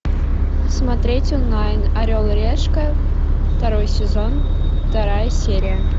смотреть онлайн орел и решка второй сезон вторая серия